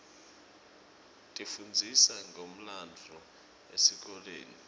tifundzisa ngemlandvo esikolweni